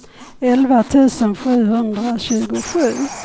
elva tusen sjuhundratjugosju